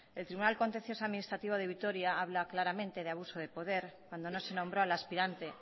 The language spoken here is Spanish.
el tribunal contencioso administrativo de vitoria habla claramente de abuso de poder cuando no se nombró al aspirante